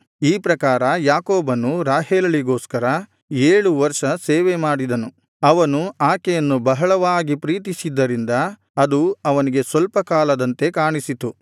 ಈ ಪ್ರಕಾರ ಯಾಕೋಬನು ರಾಹೇಲಳಿಗೋಸ್ಕರ ಏಳು ವರ್ಷ ಸೇವೆ ಮಾಡಿದನು ಅವನು ಆಕೆಯನ್ನು ಬಹಳವಾಗಿ ಪ್ರೀತಿಸಿದ್ದರಿಂದ ಅದು ಅವನಿಗೆ ಸ್ವಲ್ಪ ಕಾಲದಂತೆ ಕಾಣಿಸಿತು